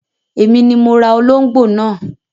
Èmi ni mo ra olóngbò náà.